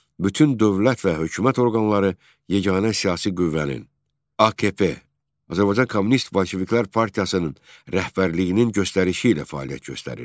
Bütün dövlət və hökumət orqanları yeganə siyasi qüvvənin, AKP, Azərbaycan Kommunist Bolşeviklər Partiyasının rəhbərliyinin göstərişi ilə fəaliyyət göstərirdi.